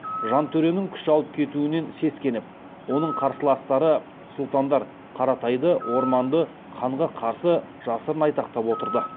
жантөренің күш алып кетуінен сескеніп оның қарсыластары сұлтандар қаратайды орманды ханға қарсы жасырын айтақтап отырды